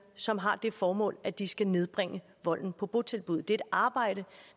som har det formål at de skal nedbringe volden på botilbud det er et arbejde